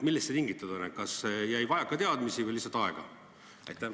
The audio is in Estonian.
Millest see tingitud on, kas jäi vajaka teadmisi või lihtsalt aega?